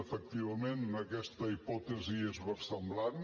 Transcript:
efectivament aquesta hipòtesi és versemblant